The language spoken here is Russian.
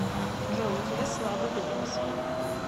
джой у тебя слабый голос